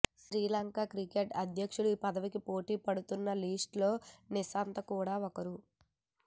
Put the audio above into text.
Sri Lanka cricket అధ్యక్షుడి పదవికి పోటీపడుతున్న లిస్ట్ లో నిషాంత కూడా ఒకరు